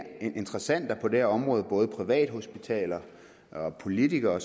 interessenter på det her område både privathospitaler politikere